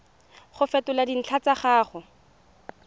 go fetola dintlha tsa gago